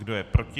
Kdo je proti?